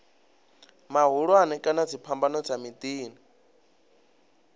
mahulwane kana dziphambano dza miḓini